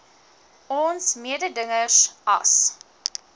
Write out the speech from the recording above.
ons mededingers as